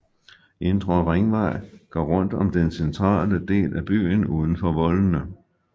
Indre Ringvej går rundt om den centrale del af byen uden for voldene